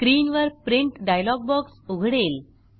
स्क्रीनवर print dialog box उघडेल